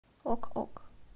ок ок